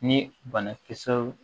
Ni banakisɛw